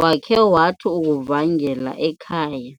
wakhe wathi ukuvangela ekhaya.